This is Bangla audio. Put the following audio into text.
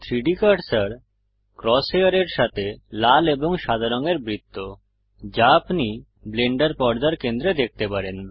3ডি কার্সার ক্রস হেয়ারের সাথে লাল এবং সাদা রঙের বৃত্ত যা আপনি ব্লেন্ডার পর্দার কেন্দ্রে দেখতে পারেন